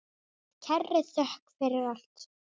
Með kærri þökk fyrir allt.